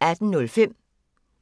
18:05: